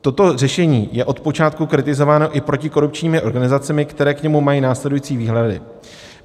Toto řešení je od počátku kritizováno i protikorupčními organizacemi, které k němu mají následující výhrady.